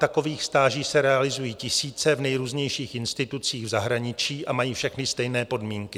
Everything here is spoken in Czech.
Takových stáží se realizují tisíce v nejrůznějších institucích v zahraničí a mají všechny stejné podmínky.